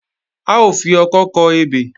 A ó fi ọkọ́ kọ ebè